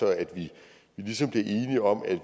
at vi ligesom bliver enige om at